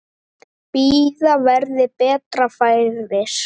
Bíða verði betra færis.